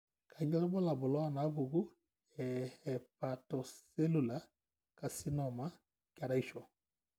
Kainyio irbulabul onaapuku eHepatocellular carcinoma, keraisho?